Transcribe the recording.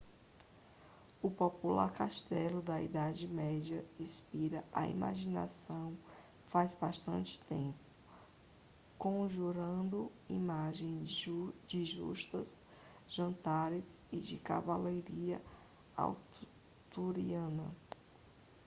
o popular castelo da idade média inspira a imaginação faz bastante tempo conjurando imagens de justas jantares e de cavalaria arturiana